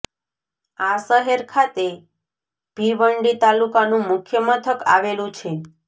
આ શહેર ખાતે ભિવંડી તાલુકાનું મુખ્ય મથક આવેલું છે